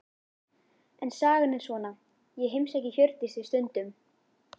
En sagan er svona: Ég heimsæki Hjördísi stundum.